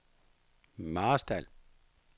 Marstal